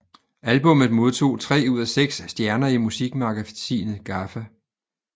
Albummet modtog tre ud af seks stjerner i musikmagasinet GAFFA